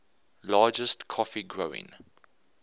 largest coffee growing